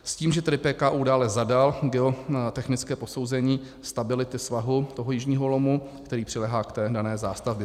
S tím, že tedy PKÚ dále zadal geotechnické posouzení stability svahu toho jižního lomu, který přiléhá k té dané zástavbě.